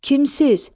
Kimsiz?